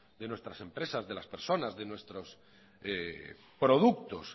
de nuestras empresas de las personas de nuestros productos